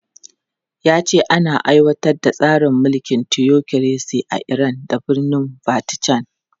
Ya ce ana aiwatar da tsarin mulkin tiyokiresi a Iran da birnin Vatican.